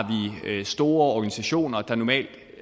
vi store organisationer der normalt